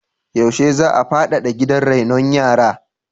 Yaushe za a faɗaɗa gidan rainon yara?